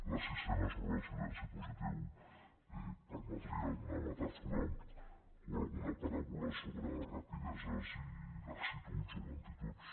la sisena sobre el silenci positiu permetria alguna metàfora o alguna paràbola sobre rapideses i laxituds o lentituds